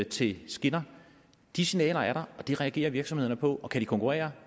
til skinner de signaler er der og det reagerer virksomhederne på og kan de konkurrere